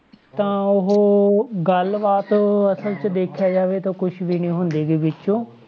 ਤਾਂ ਉਹ ਗੱਲ ਬਾਤ ਅਸਲ ਵਿੱਚ ਦੇਖਿਆ ਜਾਵੇ ਤਾਂ ਕੁਛ ਵੀ ਨੀ ਹੁੰਦੀ ਗੀ ਵਿੱਚ,